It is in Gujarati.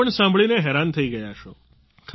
આપ પણ આ સાંભળીને હેરાન થઈ ગયા હશો